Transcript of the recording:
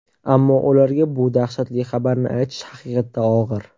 Ammo ularga bu dahshatli xabarni aytish haqiqatda og‘ir.